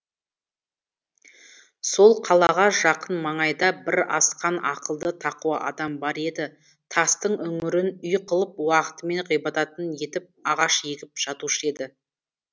сол қалаға жақын маңайда бір асқан ақылды тақуа адам бар еді тастың үңгірін үй қылып уақытымен ғибадатын етіп ағаш егіп жатушы еді